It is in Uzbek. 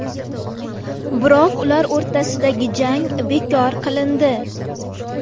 Biroq ular o‘rtasidagi jang bekor qilindi.